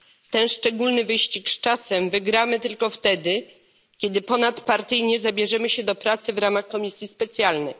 Ten szczególny wyścig z czasem wygramy tylko wtedy, kiedy ponadpartyjnie zabierzemy się do pracy w ramach komisji specjalnych.